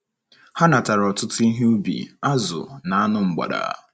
Ha natara ọtụtụ ihe ubi, azụ̀, na anụ mgbada.